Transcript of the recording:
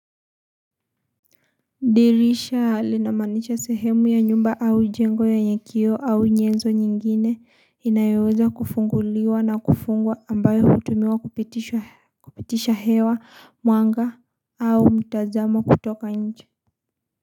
Dirisha linamaanisha sehemu ya nyumba au jengo yenye kioo au nyezo nyingine inayoweza kufunguliwa na kufungwa ambayo hutumiwa kupitisha hewa, mwanga au mtazamo kutoka nje.